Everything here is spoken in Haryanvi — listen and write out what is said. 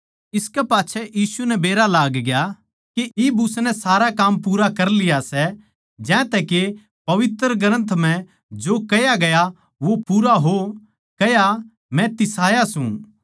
इसकै पाच्छै यीशु नै बेरा लागग्या के इब उसनै सारा काम पूरा कर लिया सै ज्यांतै के पवित्र ग्रन्थ म्ह जो कह्या गया वो पूरा हो कह्या मै तिसाया सूं